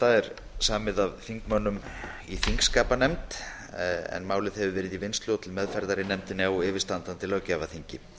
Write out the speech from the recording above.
frumvarpið er samið af þingmönnum í þingskapanefnd en málið hefur verið í vinnslu og til meðferðar í nefndinni á yfirstandandi löggjafarþingi